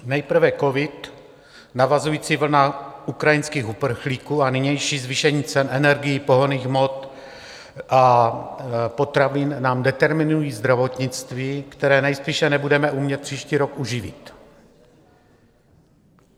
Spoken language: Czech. Nejprve covid, navazující vlna ukrajinských uprchlíků a nynější zvýšení cen energií, pohonných hmot a potravin nám determinují zdravotnictví, které nejspíše nebudeme umět příští rok uživit.